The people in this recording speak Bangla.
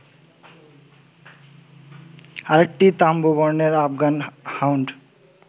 আরেকটি তাম্র বর্ণের আফগান হাউন্ড